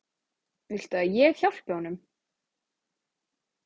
Viltu að ég hjálpi honum?